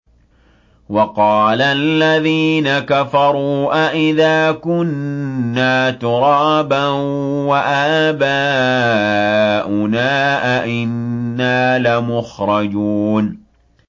وَقَالَ الَّذِينَ كَفَرُوا أَإِذَا كُنَّا تُرَابًا وَآبَاؤُنَا أَئِنَّا لَمُخْرَجُونَ